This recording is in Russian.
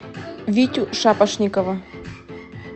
витю шапошникова